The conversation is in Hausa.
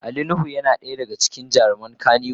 Ali nuhu yana daya daga cikin jaruman wasan kanny wood.